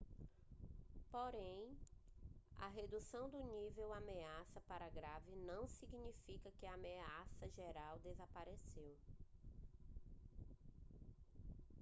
porém a redução do nível de ameaça para grave não significa que a ameaça geral desapareceu